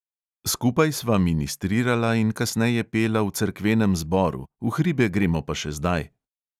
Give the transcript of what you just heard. Skupaj sva ministrirala in kasneje pela v cerkvenem zboru, v hribe gremo pa še zdaj.